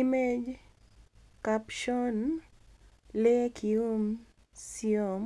Image captioni Lee Keum-seom